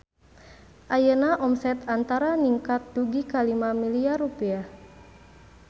Ayeuna omset Antara ningkat dugi ka 5 miliar rupiah